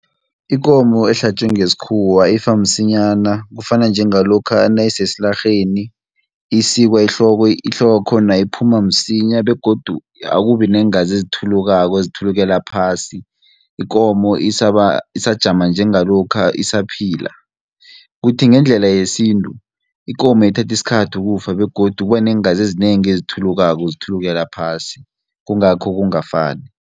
Ikomo ehlatjiwe ngesikhuwa ifa msinyana, kufana njengalokha nayisesilarheni, isikwa ihloko ihloko yakhona iphuma msinya, begodu akubi neengazi ezithulukako ezithulukela phasi, ikomo isajama njengalokha esaphila. Kuthi ngendlela yesintu, ikomo ithatha isikhathi ukufa, begodu kuba neengazi ezinengi ezithulukako zithulukela phasi, kungakho kungafani.